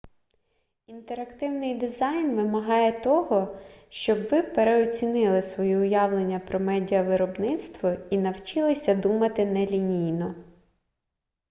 інтерактивний дизайн вимагає того щоб ви переоцінили свої уявлення про медіавиробництво і навчилися думати нелінійно